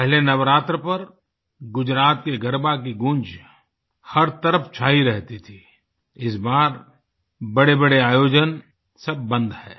पहले नवरात्र पर गुजरात के गरबा की गूंज हर तरफ़ छाई रहती थी इस बार बड़ेबड़े आयोजन सब बंद हैं